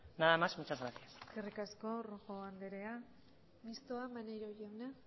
nada más y muchas gracias eskerrik asko rojo andrea mistoa maneiro jauna